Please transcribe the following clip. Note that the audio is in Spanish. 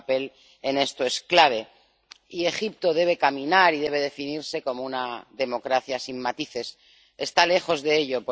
Su papel en esta cuestión es clave, y Egipto debe caminar y debe definirse como una democracia sin matices, pero está lejos de ello.